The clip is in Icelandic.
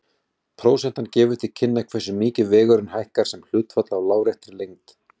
Prósentan gefur til kynna hversu mikið vegurinn hækkar sem hlutfall af láréttri lengd.